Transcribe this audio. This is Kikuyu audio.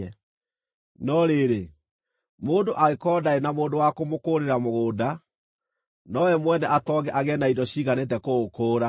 No rĩrĩ, mũndũ angĩkorwo ndarĩ na mũndũ wa kũmũkũũrĩra mũgũnda, na we mwene atonge agĩe na indo ciiganĩte kũũkũũra,